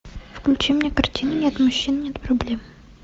включи мне картину нет мужчин нет проблем